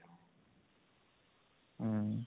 ହୁଁ